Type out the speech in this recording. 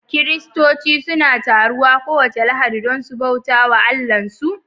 Kiristoci suna taruwa kowace Lahadi don su bauta wa Allahnsu